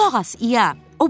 Qulaq as, İa,